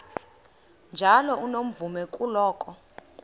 njalo unomvume kuloko